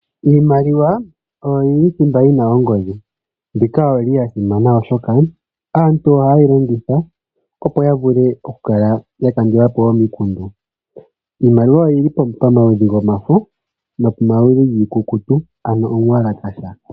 Iimaliwa oyo yili thimba yina ongodhi. Mbika oyili yasimana oshoka aantu ohaye yi longitha opo ya vule oku kala ya kandulapo omikundu. Iimaliwa oyili pamaludhi gomafo oshowo pamaludhi giikukutu ano omuwalakasha.